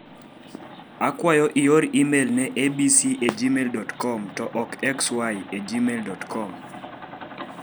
Akwayo ioe imel ne abc e gmail.com to ok xy e gmail.com.